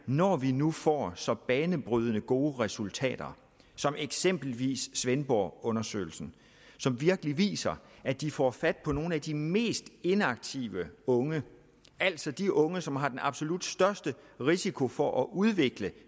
når vi nu får så banebrydende gode resultater som eksempelvis svendborgundersøgelsen som virkelig viser at de får fat på nogle af de mest inaktive unge altså de unge som har den absolut største risiko for at udvikle